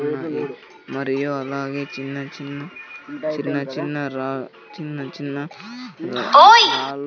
మరియు మరియు అలాగే చిన్న చిన్న చిన్న చిన్న రాల్ చిన్న చిన్న రా రాల్ --